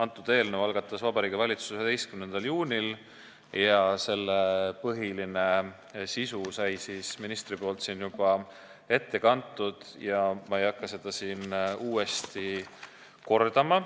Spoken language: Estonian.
Selle eelnõu algatas Vabariigi Valitsus 11. juunil ja põhilise sisu kandis minister siin juba ette – ma ei hakka seda uuesti kordama.